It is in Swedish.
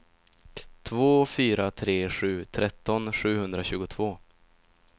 två fyra tre sju tretton sjuhundratjugotvå